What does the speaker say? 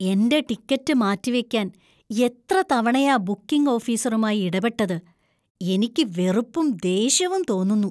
എന്‍റെ ടിക്കറ്റ് മാറ്റിവക്കാന്‍ എത്ര തവണയാ ബുക്കിംഗ് ഓഫീസറുമായി ഇടപെട്ടത്, എനിക്ക് വെറുപ്പും ദേഷ്യവും തോന്നുന്നു.